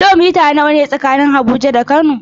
Kilomita nawa ne tsakanin Abuja da Kano?